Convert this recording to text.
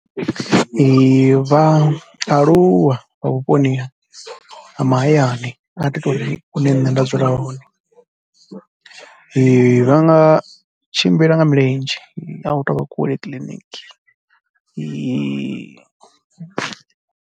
Vhaaluwa vha vhuponi ha mahayani, ndi nga ḓi tou ri hune nṋe nda dzula hone vha nga tshimbila nga milenzhe a hu tou vha kule kiḽiniki.